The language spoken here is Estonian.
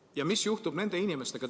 Ja mis juhtub nende inimestega ...